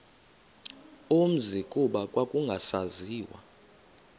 umzi kuba kwakungasaziwa